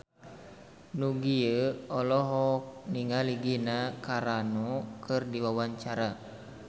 Nugie olohok ningali Gina Carano keur diwawancara